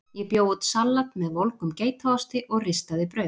Ég bjó út salat með volgum geitaosti og ristaði brauð.